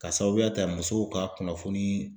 Ka sababuya ta musow ka kunnafoni